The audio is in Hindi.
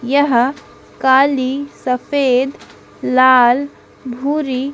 यह काली सफेद लाल भूरी--